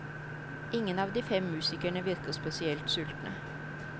Ingen av de fem musikerne virker spesielt sultne.